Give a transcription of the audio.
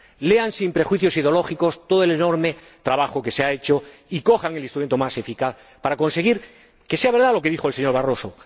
Lean, sin prejuicios ideológicos, todo el enorme trabajo que se ha hecho y cojan el instrumento más eficaz, para conseguir que sea verdad lo que dijo el señor Barroso.